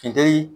Funteni